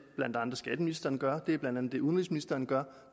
skatteministeren gør det er blandt andet det udenrigsministeren gør